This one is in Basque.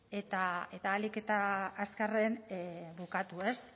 eta ahalik eta azkarren bukatu